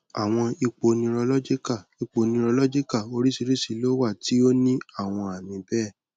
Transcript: awọn ipo neurological ipo neurological oriṣiriṣi lo wa ti o ni awọn aami bẹẹ